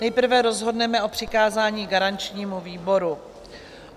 Nejprve rozhodneme o přikázání garančnímu výboru.